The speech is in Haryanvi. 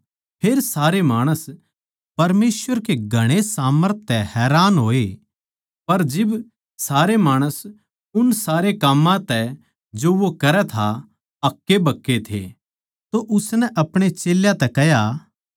फेर सारे माणस परमेसवर कै घणे सामर्थ तै हैरान होए पर जिब सारे माणस उन सारे काम्मां तै जो वो करै था हक्केबक्के थे तो उसनै अपणे चेल्यां तै कह्या